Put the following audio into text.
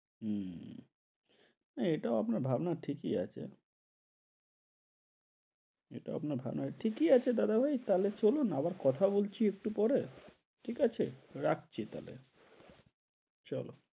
হম এইটাও আপনার ভাবনা ঠিকই আচ্ছে এইটাও আপনার ভাবনা ঠিকই আছে দাদাভাই তাহলে চলুন আবার কথা বলছি একটু পরে ঠিক আছে রাখছি তাহলে চল।